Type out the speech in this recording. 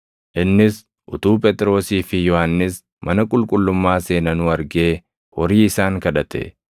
Innis utuu Phexrosii fi Yohannis mana qulqullummaa seenanuu argee horii isaan kadhate.